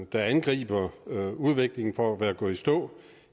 der angriber udviklingen for at være gået i stå